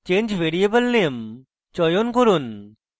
change variable name চয়ন করুন